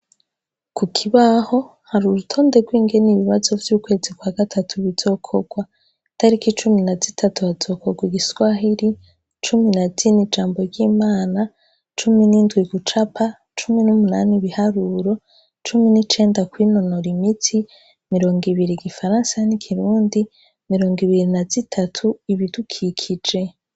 Ku kibaho hari urutonde rwingene ibibazo vy'ukwezi kwa gatatu bizokorwa, itariki icumi na zitatu hazokorwa igiswahiri, cumi na dini jambo ry'imana, cumi n'indwa igucapa, cumi n'umunani biharuro l, cumi n'icenda kw'inonoro imitsi, mirongo ibiri gifaransa n’ikirundi mirongo ibiri na zitatu ibidukikije.